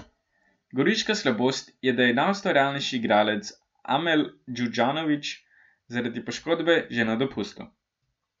Goriška slabost je, da je najustvarjalnejši igralec, Amel Džuzdanović, zaradi poškodbe že na dopustu.